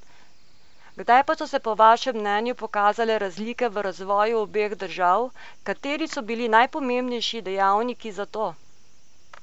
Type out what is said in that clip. Kdaj pa so se po vašem mnenju pokazale razlike v razvoju obeh držav, kateri so bili najpomembnejši dejavniki za to?